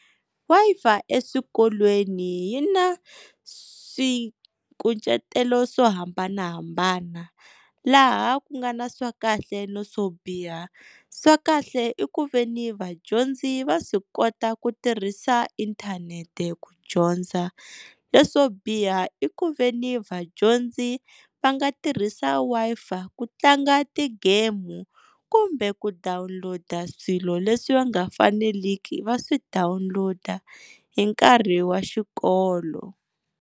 Wi-Fi eswikolweni yi na swikucetelo swo hambanahambana laha ku nga na swa kahle na swo biha, swa kahle i ku ve ni vadyondzi va swi kota ku tirhisa inthanete ku dyondza, leswo biha i ku ve ni vadyondzi va nga tirhisa Wi-Fi ku tlanga tigemu kumbe ku download swilo leswi va nga faneliki va swi download hi nkarhi wa xikolo.